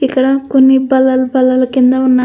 ఇక్కడా కొన్ని బల్లలు బల్లలు కింద ఉన్నా --